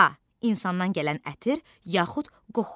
A. insandan gələn ətir yaxud qoxu.